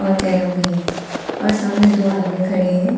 ओर carrom भी है और सामने दो आदमी खड़े हैं।